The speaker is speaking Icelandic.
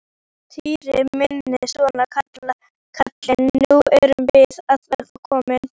Týri minn, svona kallinn, nú erum við að verða komin.